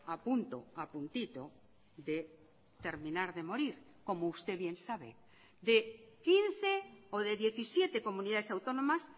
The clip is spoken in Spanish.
apunto apuntito de terminar de morir como usted bien sabe de quince o de diecisiete comunidades autónomas